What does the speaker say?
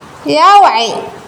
Yaa wacay?